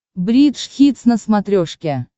бридж хитс на смотрешке